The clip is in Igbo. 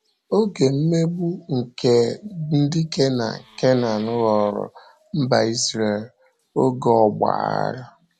Oge mmegbu nke ndị Kenan Kenan ghọọrọ mba Izrel oge ọgba aghara.